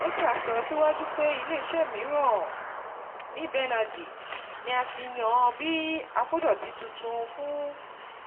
Leta sọ síwájú pé ilé isẹ́ miran, Neeb Energy, ni a ti yan bí akodoti tuntun fún